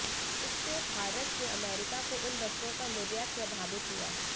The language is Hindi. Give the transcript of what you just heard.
इससे भारत से अमेरिका को इन वस्तुओं का निर्यात प्रभावित हुआ